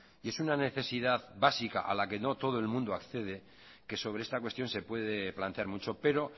y es una necesidad básica a la que no todo el mundo accede que sobre esta cuestión se puede plantear mucho pero